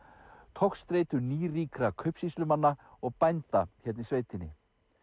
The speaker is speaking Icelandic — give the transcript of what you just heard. togstreitu nýríkra kaupsýslumanna og bænda hérna í sveitinni